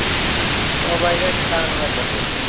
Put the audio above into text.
സ്വാഭാവികമായിട്ട് ഉണ്ടാകുന്നതല്ലേ അപ്പോൾ